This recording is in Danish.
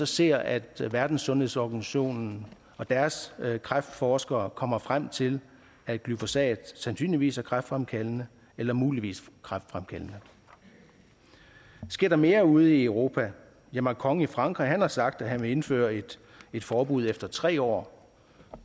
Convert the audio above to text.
ser at verdenssundhedsorganisationen og deres kræftforskere kommer frem til at glyfosat sandsynligvis er kræftfremkaldende eller muligvis kræftfremkaldende sker der mere ude i europa ja macron i frankrig har sagt at han vil indføre et forbud efter tre år